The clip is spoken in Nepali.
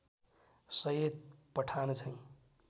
सैयद पठानझैँ